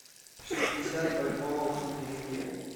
шестьдесят бальбоа в тенге